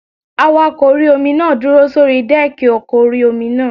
Awakọ̀ orí-omi náà dúró sórí dẹ́ẹ̀kì ọkọ̀ orí-omi náà